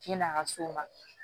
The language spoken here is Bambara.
Yann'a ka s'o ma